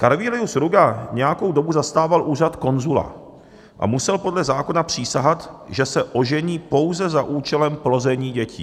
Carvilius Ruga nějakou dobu zastával úřad konzula a musel podle zákona přísahat, že se ožení pouze za účelem plození dětí.